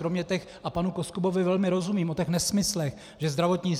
Kromě těch, a panu Koskubovi velmi rozumím, o těch nesmyslech, že zdravotní